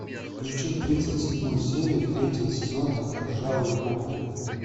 включи тридцать седьмую серию третьего сезона ржавые копы